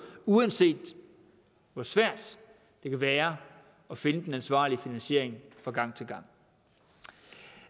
uanset hvor svært det kan være at finde den ansvarlige finansiering fra gang til gang